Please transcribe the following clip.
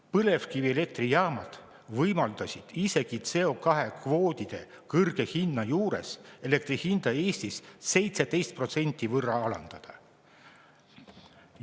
Põlevkivielektrijaamad võimaldasid isegi CO2‑kvootide kõrge hinna juures elektri hinda Eestis 17% võrra alandada.